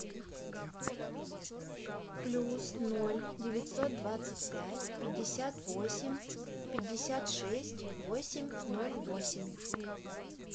плюс ноль девятьсот двадцать пять пятьдесят восемь пятьдесят шесть восемь ноль восемь